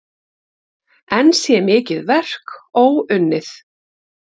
Enn sé mikið verk óunnið.